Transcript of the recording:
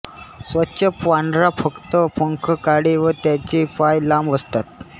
स्वच्छ पांढरा फक्त पंख काळे व त्याचे पाय लांब असतात